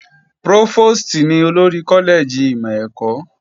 Prófòstì ní olórí kọ́lẹ́ẹ̀jì ìmọ̀ ẹ̀kọ́